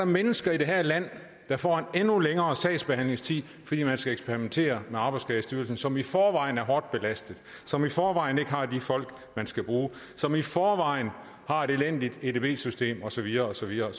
mennesker i det her land der får en endnu længere sagsbehandlingstid fordi man skal eksperimentere med arbejdsskadestyrelsen som i forvejen er hårdt belastet som i forvejen ikke har de folk man skal bruge som i forvejen har et elendigt edb system og så videre og så videre